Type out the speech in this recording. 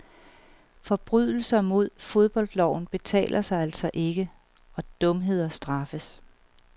Forbrydelser mod fodboldloven betaler sig altså ikke, og dumheder straffes.